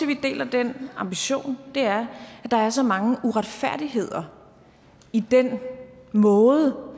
vi deler den ambition er at der er så mange uretfærdigheder i den måde